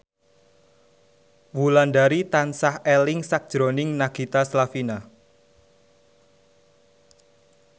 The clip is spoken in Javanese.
Wulandari tansah eling sakjroning Nagita Slavina